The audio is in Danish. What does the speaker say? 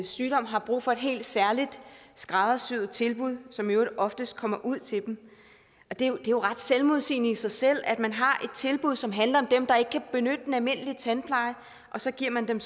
sygdom har brug for et helt særligt skræddersyet tilbud som i øvrigt oftest kommer ud til dem det er jo ret selvmodsigende i sig selv at man har et tilbud som handler om dem der ikke kan benytte den almindelige tandpleje og så giver man dem